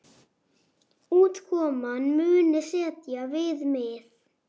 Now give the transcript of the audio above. Útkoman muni setja viðmið.